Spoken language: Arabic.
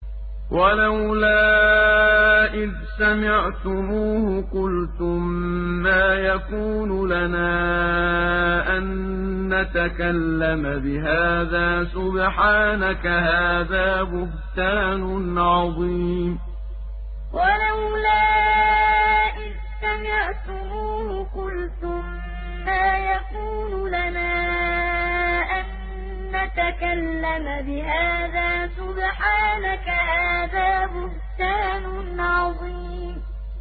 وَلَوْلَا إِذْ سَمِعْتُمُوهُ قُلْتُم مَّا يَكُونُ لَنَا أَن نَّتَكَلَّمَ بِهَٰذَا سُبْحَانَكَ هَٰذَا بُهْتَانٌ عَظِيمٌ وَلَوْلَا إِذْ سَمِعْتُمُوهُ قُلْتُم مَّا يَكُونُ لَنَا أَن نَّتَكَلَّمَ بِهَٰذَا سُبْحَانَكَ هَٰذَا بُهْتَانٌ عَظِيمٌ